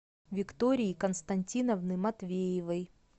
виктории константиновны матвеевой